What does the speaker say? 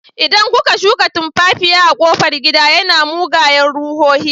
Idan kuka shuka tumfafiya a kofar gida, yana mugayen ruhohi.